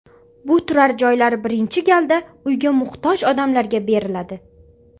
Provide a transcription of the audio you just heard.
Bu turar joylar birinchi galda uyga muhtoj odamlarga beriladi.